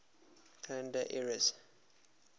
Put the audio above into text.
calendar eras